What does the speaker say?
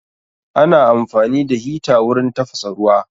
Ana amfani da hita wurin tafasa ruwa